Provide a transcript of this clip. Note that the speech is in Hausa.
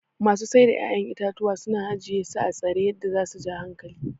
masu Saida 'ya'yan itatuwa suna ajiyesu atsare yadda zasu ja hankali.